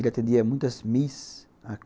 Ele atendia muitas miss.